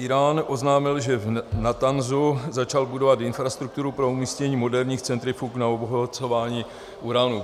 Írán oznámil, že v Natanzu začal budovat infrastrukturu pro umístění moderních centrifug na obohacování uranu.